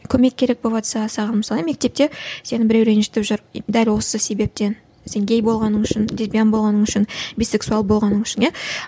көмек керек болыватса саған мысалы мектепте сені біреу ренжітіп жүр дәл осы себептен сен гей болғаның үшін лесбиян болғаның үшін бисексуал болғаның үшін иә